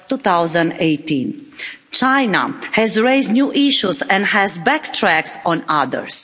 2018. China has raised new issues and has backtracked on others.